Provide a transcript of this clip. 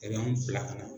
bila kana